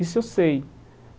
Isso eu sei.